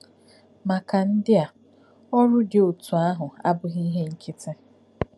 Maka ndị a, ọrụ dị otú ahụ abụghị ihe nkịtị.